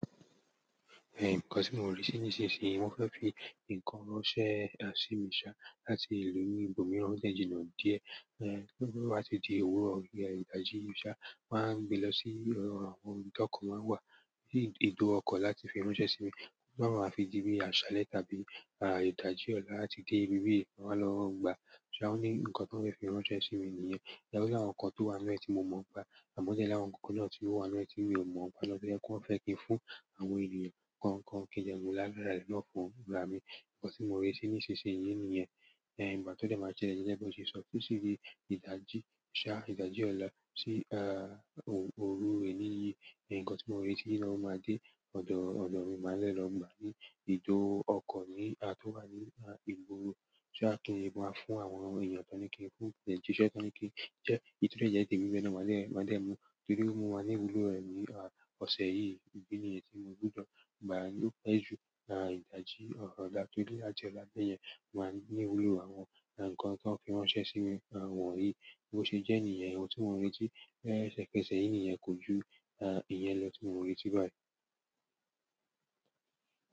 Eh, nǹkan tí mò ń rí sí nísinsìnyí, wọ́n fẹ́ fi ǹkan ránṣẹ́ sí mi ṣá láti ìlú ibòmíràn o dẹ jìnà díẹ̀. Eh, ti o ba ti di ewúro bi idaji ṣa, ṣá máa gbé lọ sí àwọn ibi tí ọkọ̀ máa ń wà, so bi ètò ọkọ̀ láti fi ránṣẹ́ sí mi. Toba máa ma fi di bíi àṣálẹ́ tàbí, à, ìdajì ọlá àti dé ibi bí yìí, wọn máa lọ gba. So wọ́n ní ǹkan tó ń fẹ́ fi ránṣẹ́ sí mi nìyẹn? O ni àwọn nǹkan tó wà nínú ẹ tí mo mọ̀ npa ẹ, àmọ́ o dẹ l'awọn àwọn nǹkan kan náà tí ó wà nínú ẹ tí mi ò mọ̀ npw lọ́jọ́, ẹkún fẹ́ kí ń fún àwọn ènìyàn kan kan kí jẹ mọ́ là lára ẹni lọ fún gba mi. Ǹkan tí mò ń rí sí nísinsìnyí nìyẹn. Eh, ìgbà to dẹ máa jẹ́ yẹn, bí wọ́n ṣe sọtọ́ síbi ìdajì ṣá, ìdajì ọlá sí, ah, òru òru èní yìí. Ǹkan tí mò ń rí tí wọn máa dé ọ̀dọ̀ ọ̀dọ̀ mi máa lẹ́ lọ gba ní ìdó ọkọ̀ ní, à, tó wà ní, à, ìgboro. Ṣé á kí ń máa fún àwọn ènìyàn tán kí ń fún jẹ́ṣẹ́ tán kí ń jẹ́, èyí tó jẹ́ yẹ́ ti ibi bí yìí ni wọ́n máa dẹ́ ẹ mu. Torí mo máa ní ìwúlò rẹ̀ ní, à, ọ̀sẹ̀ yìí. Idi yẹn tí mo gbúdọ̀ gba ló pẹ́ jù, à, ìdajì ọ̀rọ̀ ọ̀la. Torí lájọọlá bẹ́ẹ̀ yẹn, wọ́n máa ní inú òru àwọn, à, ǹkan tí wọ́n fẹ́ ránṣẹ́ sí mi, à, wọ̀nyí. Bí ó ṣe jẹ́ nìyẹn, ohun tí mò ń retí, ẹsẹ kẹsẹ̀ yìí nìyẹn kò ju, à, ìyẹn lọ tí mò ń retí báyìí.